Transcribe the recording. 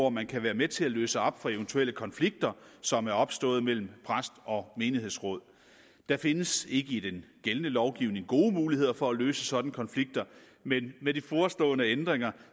at man kan være med til at løse op for eventuelle konflikter som er opstået mellem præst og menighedsråd der findes ikke i den gældende lovgivning nogen gode muligheder for at løse sådanne konflikter men med de forestående ændringer